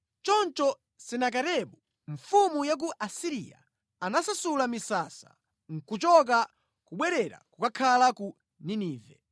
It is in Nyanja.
Choncho Senakeribu mfumu ya ku Asiriya anasasula misasa nʼkuchoka kubwerera kukakhala ku Ninive.